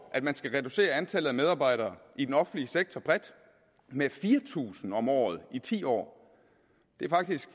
at man skal reducere antallet af medarbejdere i den offentlige sektor bredt med fire tusind om året i ti år det er faktisk